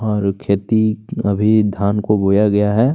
और खेती अभी धान को बोया गया है।